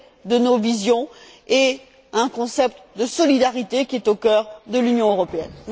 de nos visions et un concept de solidarité qui est au cœur de l'Union européenne.